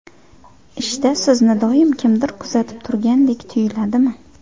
Ishda sizni doim kimdir kuzatib turgandek tuyuladimi?